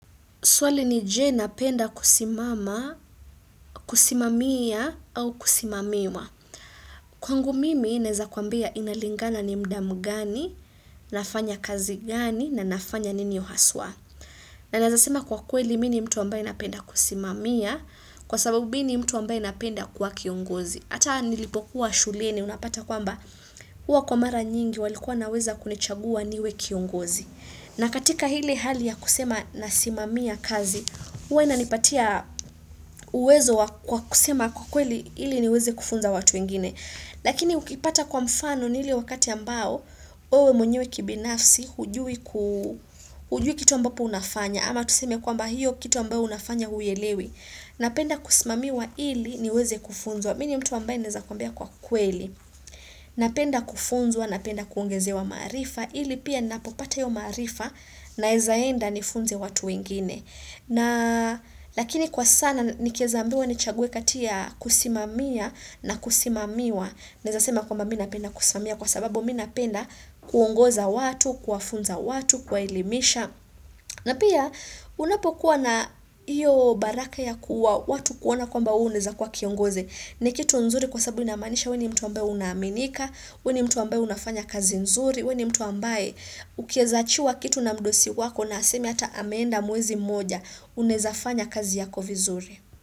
Swali ni je na penda kusimama, kusimamia au kusimamiwa. Kwangu mimi naeza kuambia inalingana ni mda mgani, nafanya kazi gani, na nafanya nini haswa. Na naeza sema kwa kweli mini mtu ambaye napenda kusimamia, kwa sababu mini mtu ambaye napenda kuwa kiongozi. Hata nilipokuwa shuleni unapata kwamba huwa kwa mara nyingi walikuwa wanaweza kunichagua niwe kiongozi. Na katika hili hali ya kusema nasimamia kazi, huwa ina nipatia uwezo kwa kusema kwa kweli hili niweze kufunza watu ingine. Lakini ukipata kwa mfano ni ile wakati ambao, mwenye kibinafsi, hujui kitu ambapo unafanya. Ama tuseme kwamba hiyo kitu ambayo unafanya huielewi. Napenda kusimamiwa ili niweze kufunzwa. Mini mtu ambaye naeza kuambia kwa kweli. Napenda kufunzwa, napenda kuongezewa marifa. Ili pia ninapopata hio maarifa naeza enda nifunze watu wengine. Na lakini kwa sana nikieza ambiwa nichague kati ya kusimamia na kusimamiwa. Naeza sema kwamba mina penda kusimamia kwa sababu mina penda kuongoza watu, kuwafunza watu, kuwa elimisha. Na pia unapokuwa na iyo baraka ya kuwa watu kuona kwamba we unaeza kuwa kiongoze. Ni kitu nzuri kwa sababu inamanisha weni mtu ambaye unaminika, weni mtu ambaye unafanya kazi nzuri, weni mtu ambaye Ukieza achiwa kitu na mdosi wako na aseme ata ameanda mwezi moja unaezafanya kazi yako vizuri.